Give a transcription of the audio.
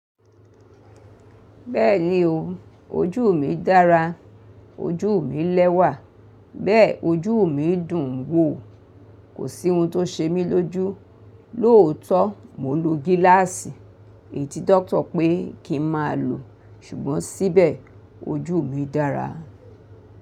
Bẹ́ẹ̀ni o, ojú mi dára, ojú mi lẹ́wà, bẹ́ẹ̀ ojú mi dùn ún wò. Kò sí ohun tó ṣe mí lójú. Lóòótọ́ mo ń lo gíláàsì èyí tí doctor pé kí n má lò, ṣùgbọ́n síbẹ̀ ojú mi dára.